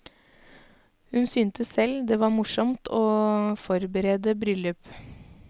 Hun syntes selv det var morsomt å forberede bryllup.